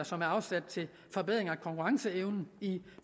som er afsat til forbedring af konkurrenceevnen i